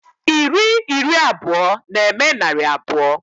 Iri iri abụọ na-eme narị abụọ.